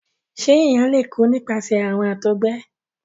ṣe èyán lẹ kú nípasẹ àrùn àtọgbẹ?